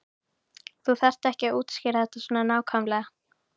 Þú þarft ekki að útskýra þetta svona nákvæmlega.